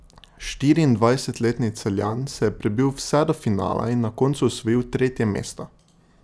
Štiriindvajsetletni Celjan se je prebil vse do finala in na koncu osvojil tretje mesto.